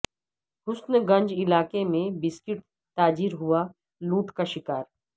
حسن گنج علاقہ میں بسکٹ تاجر ہوا لوٹ کا شکار